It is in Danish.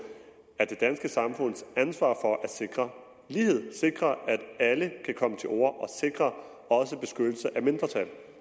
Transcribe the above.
er det det danske samfunds ansvar at sikre lighed og sikre at alle kan komme til orde sikre beskyttelse af mindretal